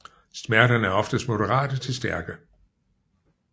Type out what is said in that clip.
Smerterne er oftest moderate til stærke